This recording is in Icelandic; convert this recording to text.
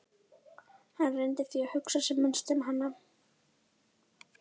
Hann reyndi því að hugsa sem minnst um hana.